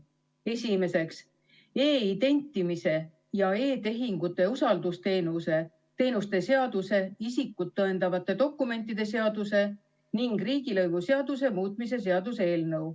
Esimeseks, e-identimise ja e-tehingute usaldusteenuste seaduse, isikut tõendavate dokumentide seaduse ning riigilõivuseaduse muutmise seaduse eelnõu.